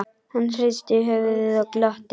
Hann hristi höfuðið og glotti.